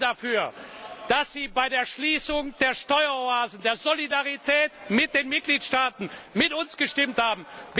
Wir danken dafür, dass Sie bei der Schließung der Steueroasen und der Solidarität mit den Mitgliedstaaten mit uns gestimmt haben.